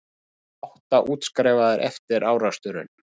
Allir átta útskrifaðir eftir áreksturinn